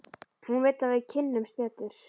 Hún vill að við kynnumst betur.